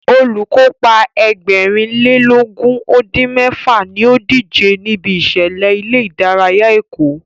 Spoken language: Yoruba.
Olùkópa Ẹgbẹ̀rin lé lógún ó dín mẹ́fà ní ó díje níbi ìṣẹ̀lẹ̀ ilé ìdárayá Èkó